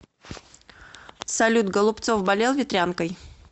салют голубцов болел ветрянкой